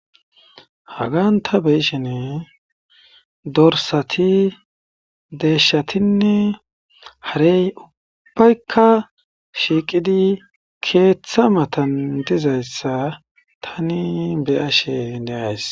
hagan ta beyishene dorsati deeshatinne harey ubbaykka shiiqidi keeththa matan dizayssa tani beyashe indeyays